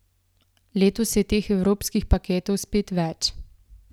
Letos je teh evropskih paketov spet več.